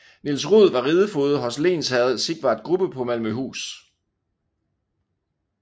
Niels Roed var ridefoged hos lensherre Sigvard Grubbe på Malmøhus